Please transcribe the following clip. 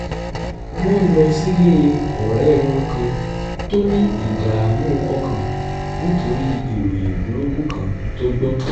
wọ́n lọ sílé ọ̀rẹ́ wọn kan tó ní ìdààmú ọkàn nítorí ìròyìn burúkú kan tó gbọ́